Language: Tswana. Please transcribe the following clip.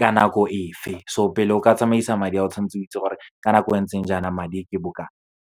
ka nako e fe. So, pele o ka tsamaisa madi a o, tshwanetse o itse gore ka nako e ntseng jaana madi ke bokana.